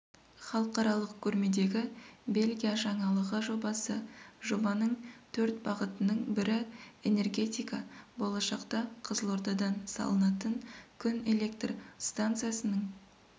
халықаралық көрмедегі бельгия жаңалығы жобасы жобаның төрт бағытының бірі энергетика болашақта қызылордадан салынатын күн электр станциясының